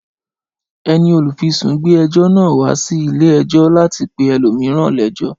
Ẹni olùfisùn gbé ẹjọ́ náà wá sí ilé ẹjọ́ láti pe ẹlòmíràn léjọ́